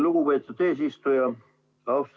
Lugupeetud eesistuja!